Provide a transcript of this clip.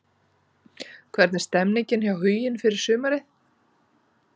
Hvernig er stemningin hjá Huginn fyrir sumarið?